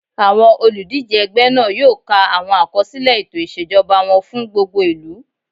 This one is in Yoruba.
Àwọn olùdíjé ẹgbẹ́ náà yóò ka àwọn àkọsílẹ̀ ètò ìṣèjọba wọn fún gbogbo ìlú